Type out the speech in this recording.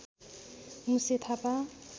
Muse Thapa